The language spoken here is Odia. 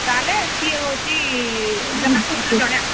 ତାହେଲେ ସିଏ ହଉଛି ଜଣେ ଆସିବ।